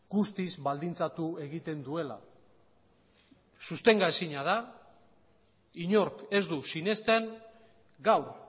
guztiz baldintzatu egiten duela sostenga ezina da inork ez du sinesten gaur